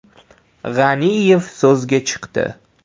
G‘aniyev so‘zga chiqdi.